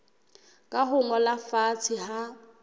ka ho ngolwa fatshe ha